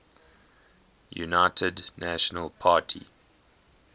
united national party